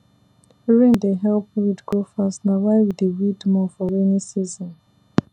rain dey help weed grow fast na why we dey weed more for rainy season